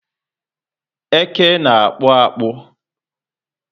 Eke ná akpu akpu